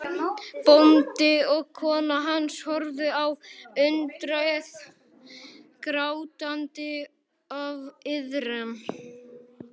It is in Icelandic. Bóndi og kona hans horfa á undrið, grátandi af iðran.